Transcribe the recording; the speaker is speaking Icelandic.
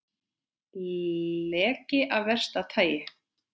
Leki af versta tagi